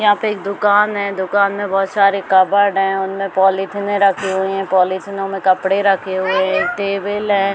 यहाँ पे एक दुकान है दुकान में बहुत सारे कबर्ड है उनमें पॉलीथिने रखी हुई है पॉलीथिनों में कपड़े रखे हुए है टेबल हैं।